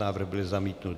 Návrh byl zamítnut.